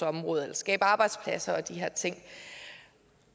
område eller skabe arbejdspladser og de her ting